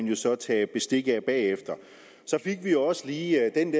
jo så tages bestik af bagefter så fik vi også lige den